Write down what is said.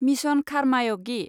mission खारमायगि